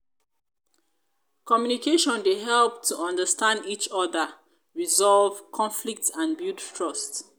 communication dey help to understand each oda resolve conflicts and build trust.